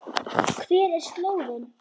Hver er slóðin?